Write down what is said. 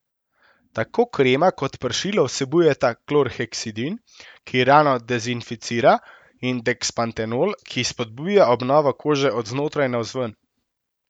Tako krema kot pršilo vsebujeta klorheksidin, ki rano dezinficira, in dekspantenol, ki spodbuja obnovo kože od znotraj navzven.